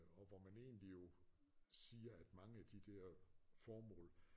Og hvor man egentlig jo siger at mange af de der formål